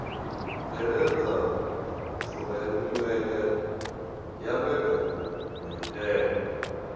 bveledza furemiweke ya mbekanyamaitele a